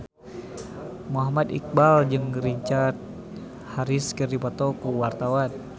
Muhammad Iqbal jeung Richard Harris keur dipoto ku wartawan